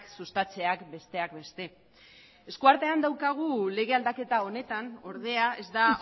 sustatzeak besteak beste eskuartean daukagu lege aldaketa honetan ordea ez da